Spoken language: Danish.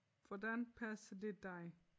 Hvordan passer det dig?